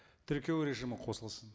тіркеу режимі қосылсын